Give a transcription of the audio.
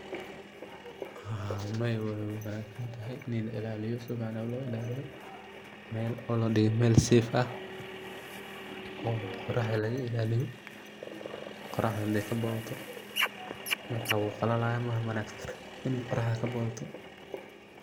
Maya wey wanagsantahay ini ladigo mel wanagsan oo safe ah, oo qoraxda laga ilaliyo, qoraxda hadey kabadhato wuu qalalaya ,maana wanagsano iney qoraxda kabadato.